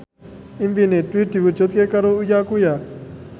impine Dwi diwujudke karo Uya Kuya